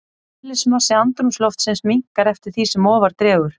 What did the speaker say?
Eðlismassi andrúmsloftsins minnkar eftir því sem ofar dregur.